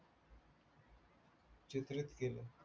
चित्रित केले